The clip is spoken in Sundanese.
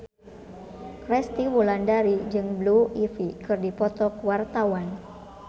Resty Wulandari jeung Blue Ivy keur dipoto ku wartawan